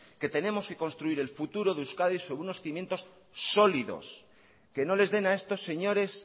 que tenemos que construir el futuro de euskadi sobre unos cimientos sólidos que no les den a estos señores